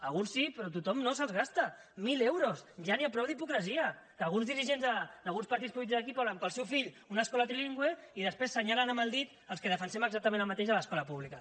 alguns sí però tothom no se’ls gasta mil euros ja n’hi ha prou d’hipocresia que alguns dirigents d’alguns partits polítics d’aquí volen per al seu fill una escola trilingüe i després assenyalen amb el dit els que defensem exactament el mateix a l’escola pública